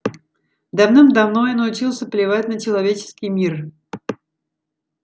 давным-давно я научился плевать на человеческий мир